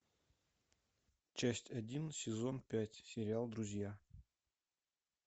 часть один сезон пять сериал друзья